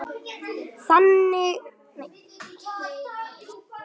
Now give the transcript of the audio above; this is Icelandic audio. Er það ekki þannig?